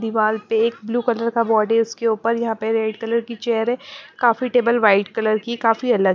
दीवार पे एक ब्लू कलर का बॉर्ड है उसके ऊपर यहाँ पे रेड कलर की चेयर है काफ़ी टेबल वाइट कलर की काफ़ी अलग--